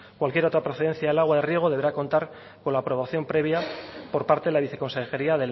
cualquier otra procedencia del agua riego deberá contar con la aprobación previa por parte de la viceconsejería